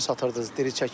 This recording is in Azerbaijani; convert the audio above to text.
Necə satırdınız?